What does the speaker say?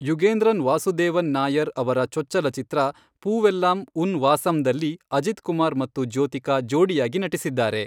ಯುಗೇಂದ್ರನ್ ವಾಸುದೇವನ್ ನಾಯರ್ ಅವರ ಚೊಚ್ಚಲ ಚಿತ್ರ ಪೂವೆಲ್ಲಾಂ ಉನ್ ವಾಸಂದಲ್ಲಿ ಅಜಿತ್ ಕುಮಾರ್ ಮತ್ತು ಜ್ಯೋತಿಕಾ ಜೋಡಿಯಾಗಿ ನಟಿಸಿದ್ದಾರೆ.